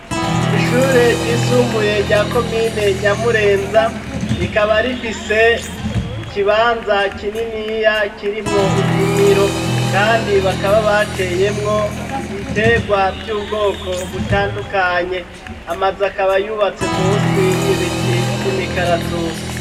Ishure ryisumbuye rya komine nyamurenza rikaba rifise ikibanza kininiya kirimwo indimiro kandi bakaba bateyemwo ibitegwa vy'ubwoko butandukanye amazu akaba yubatse munsi y'ibiti vy'imikaratusi.